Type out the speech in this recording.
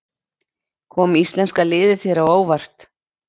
Kom íslenska liðið þér á óvart?